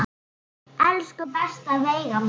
Elsku besta Veiga mín.